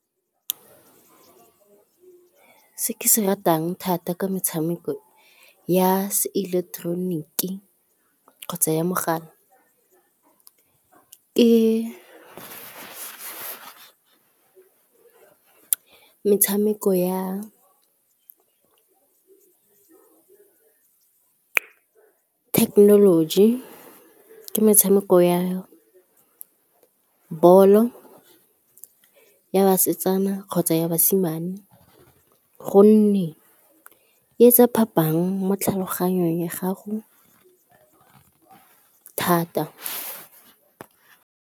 Se ke se ratang thata ke metshameko ya se ileketeroniki kgotsa ya mogala, ke metshameko ya technology, ke metshameko ya ball-o ya basetsana kgotsa basimane, gonne e etsa phapang mo tlhaloganyong ya gago thata.